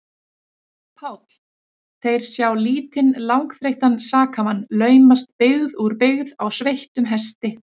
PÁLL: Þeir sjá lítinn, langþreyttan sakamann laumast byggð úr byggð á sveittum hesti.